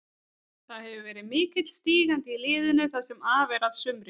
Það hefur verið mikill stígandi í liðinu það sem af er af sumri.